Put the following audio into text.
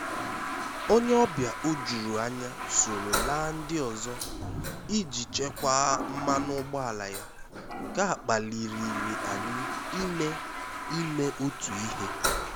Ónyé ọ́bịà ójúrú ányá sóró lá ndí ọ́zọ́ íjí chékwàá mmánụ́ ụ́gbọ́álá yá, nké á kpálirìré ànyị́ ímé ímé ótú íhé.